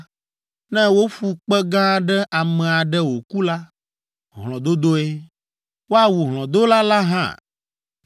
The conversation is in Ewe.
Ne woƒu kpe gã aɖe ame aɖe wòku la, hlɔ̃dodoe; woawu hlɔ̃dola la hã.